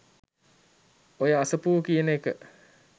ඔය අසපුව කියන එක